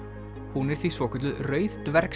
hún er því svokölluð rauð